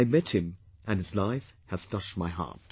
I met him and his life has touched my heart